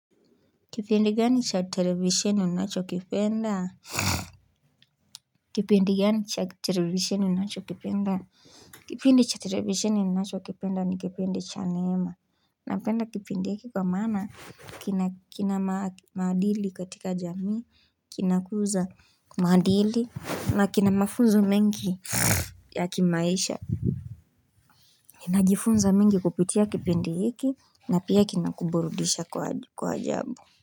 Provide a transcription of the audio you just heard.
Kipindi gani cha television unacho kipenda Kipindi gani cha television unacho kipinda Kipindi cha television ninacho kipenda ni kipindi cha neema Napenda kipindi hiki kwa maana kina maadili katika jamii, kinakuza kwa maadili na kina mafunzo mengi ya kimaisha Nina jifunza mengi kupitia kipindi hiki na pia kinakuburudisha kwa ajabu.